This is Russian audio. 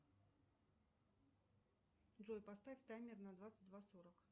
джой поставь таймер на двадцать два сорок